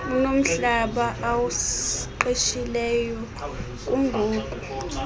unomhlaba awuqeshileyo kungoku